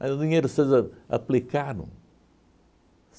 Mas o dinheiro vocês aplicaram.